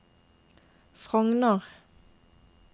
Frogner